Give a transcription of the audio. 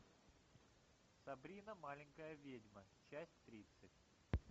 сабрина маленькая ведьма часть тридцать